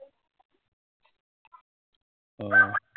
আহ